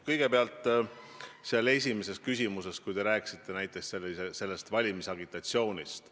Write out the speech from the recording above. Kõigepealt, oma esimeses küsimuses te rääkisite valimisagitatsioonist.